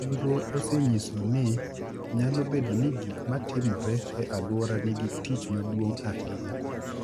Nonro osenyiso ni nyalo bedo ni gik ma timore e alwora nigi tich maduong’ ahinya.